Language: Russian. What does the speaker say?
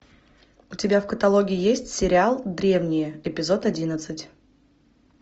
у тебя в каталоге есть сериал древние эпизод одиннадцать